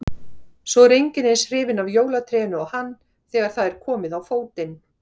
Svo er enginn eins hrifinn af jólatrénu og hann þegar það er komið á fótinn